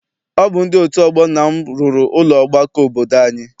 Ọ bụ ndị otu ọgbọ nna m rụrụ ụlọ ọgbakọ obodo anyị.